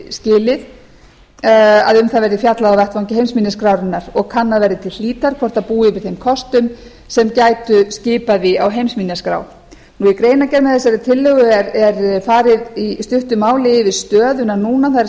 skilið að um það verði fjallað á vettvangi heimsminjaskrárinnar og kannað verði til hlítar hvort það búi yfir þeim kostum sem gætu skipað því á heimsminjaskrá í greinargerð með þessari tillögu er farið í stuttu málin yfir stöðuna núna það er